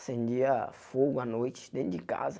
Acendia fogo à noite dentro de casa.